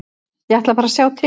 Ég ætla bara að sjá til.